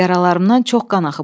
Yaralarımdan çox qan axıb.